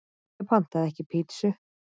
Ég pantaði ekki pítsu